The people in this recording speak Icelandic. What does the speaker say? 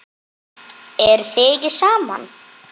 Eruð þið ekki saman?